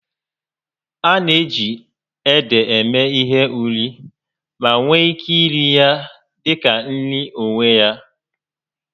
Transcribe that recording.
A na-eji ede eme ihe ụrị ma nwee ike iri ya dị ka nri n'onwe ya